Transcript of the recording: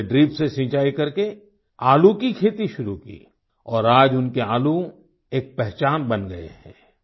उन्होंने ड्रिप से सिंचाई करके आलू की खेती शुरू की और आज उनके आलू एक पहचान बन गए हैं